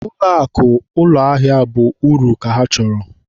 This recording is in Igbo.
Ụlọakụ ụlọahịa bụ uru ka ha chọrọ.